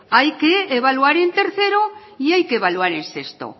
hay que evaluar en tercero y hay que evaluar en sexto